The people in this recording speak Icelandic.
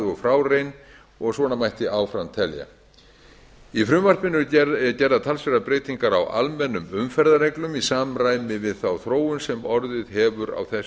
og frá ærin og svona mætti áfram telja í frumvarpinu eru gerðar talsverðar breytingar a almennum umferðarreglum í samræmi við þá þróun sem orðið hefur á þessu